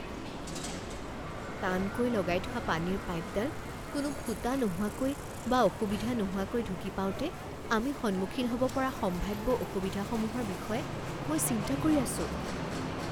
টানকৈ লগাই থোৱা পানীৰ পাইপডাল কোনো ফুটা নোহোৱাকৈ বা অসুবিধা নোহোৱাকৈ ঢুকি পাওঁতে আমি সন্মুখীন হ'ব পৰা সম্ভাৱ্য অসুবিধাসমূহৰ বিষয়ে মই চিন্তা কৰি আছোঁ।